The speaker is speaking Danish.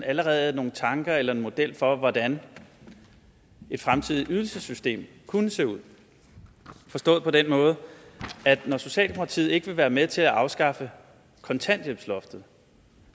allerede nogle tanker om eller en model for hvordan et fremtidigt ydelsessystem kunne se ud forstået på den måde at når socialdemokratiet ikke vil være med til at afskaffe kontanthjælpsloftet